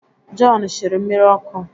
Jọn shiri mmiri ọkụ